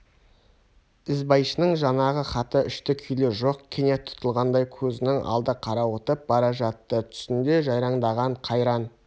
ізбайшаның жанағы хаты үшті-күйлі жоқ кенет күн тұтылғандай көзінің алды қарауытып бара жатты түсінде жайраңдаған қайран